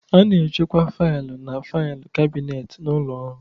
A na-echekwa fail na fail kabinet n'ụlọ ọrụ